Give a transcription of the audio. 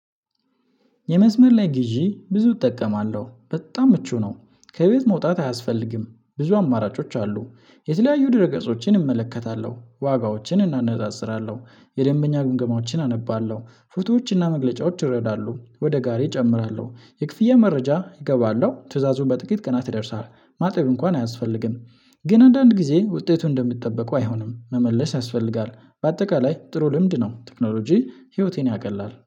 የመስመር ላይ ግዢ ብዙ እጠቀማለሁ በጣም ምቹ ነው። ከቤት መውጣት አያስፈልግም ብዙ አማራጮች አሉ። የተለያዩ ድህረ ገጾችን እመለከታለሁ ዋጋዎችን እናነጻጽራለሁ። የደንበኛ ግምገማዎችን አነባለሁ ፎቶዎችና መግለጫዎች ይረዳሉ ወደ ጋሬ እጨምራለሁ የክፍያ መረጃ እገባለሁ ትዕዛዙን በጥቂት ቀናት ይደርሳል። ማጠብ እንኳን አያስፈልግም። ግን አንዳንድ ጊዜ ውጤቱን እንደምትጠበቀው አይሆንም መመለስ ያስፈልጋል። በአጠቃላይ ጥሩ ልምድ ነው ቴክኖሎጂ ህይወቴን ያቀላል